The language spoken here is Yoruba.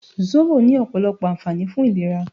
Sóbò ní ọ̀pọ̀lọpọ̀ ànfààní fún ìlera